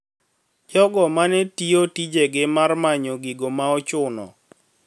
Jogo ma ne tiyo tijegi mar manyo gigo maochuno